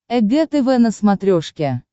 эг тв на смотрешке